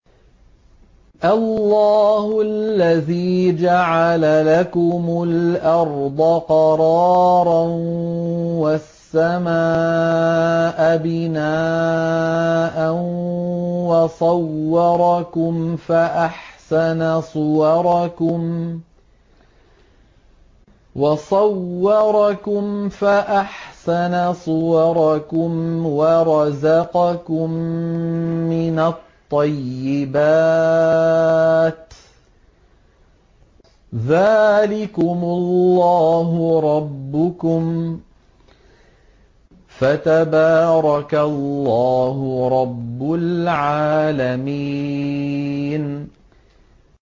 اللَّهُ الَّذِي جَعَلَ لَكُمُ الْأَرْضَ قَرَارًا وَالسَّمَاءَ بِنَاءً وَصَوَّرَكُمْ فَأَحْسَنَ صُوَرَكُمْ وَرَزَقَكُم مِّنَ الطَّيِّبَاتِ ۚ ذَٰلِكُمُ اللَّهُ رَبُّكُمْ ۖ فَتَبَارَكَ اللَّهُ رَبُّ الْعَالَمِينَ